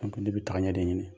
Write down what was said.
N ko ne bɛ tagaɲɛ de ɲini